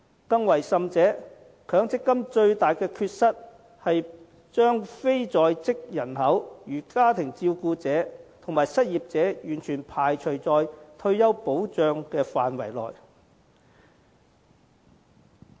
更甚者，強積金最大的缺失是把非在職人口如家庭照顧者和失業者完全排除在退休保障的範圍外。